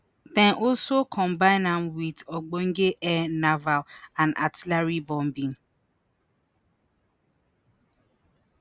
dem also combine am wit ogbonge air naval and artillery bombing